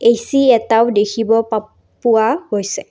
AC এটাও দেখিব পাপ পোৱা গৈছে।